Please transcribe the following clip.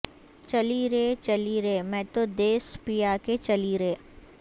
چلی رے چلی رے میں تو دیس پیا کے چلی رے